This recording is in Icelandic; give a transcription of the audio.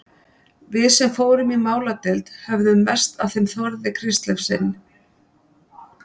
Við sem fórum í máladeild höfðum mest af þeim Þórði Kristleifssyni